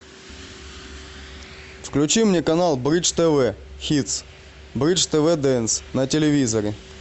включи мне канал бридж тв хитс бридж тв дэнс на телевизоре